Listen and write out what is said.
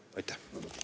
Aitäh!